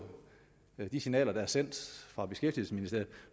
de signaler der er sendt fra beskæftigelsesministeriet